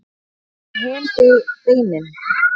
hvað verður um hin beinin